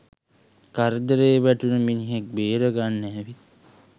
කරදරේ වැටුන මිනිහෙක් බේර ගන්න ඇවිත්